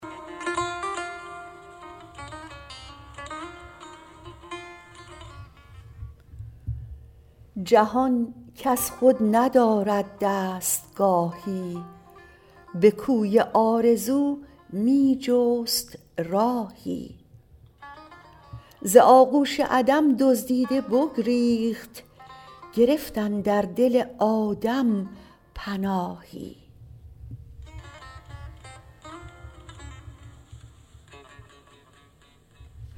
جهان کز خود ندارد دستگاهی به کوی آرزو می جست راهی ز آغوش عدم دزدیده بگریخت گرفت اندر دل آدم پناهی